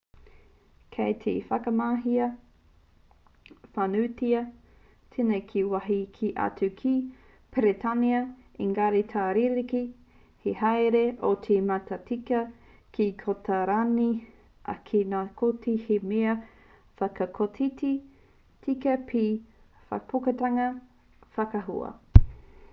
kei te whakamahia whānuitia tēnei ki wāhi kē atu ki peretānia engari ka rerekē te haere o te matatika ki kōtarani ā ki ngā kōti he mea whakakotiti tika pea te whakaputanga whakaahua